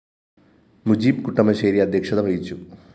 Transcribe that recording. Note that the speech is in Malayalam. മുജീബ് കുട്ടമശ്ശേരി അദ്ധ്യക്ഷത വഹിച്ചു